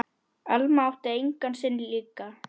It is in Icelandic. Alma átti engan sinn líka.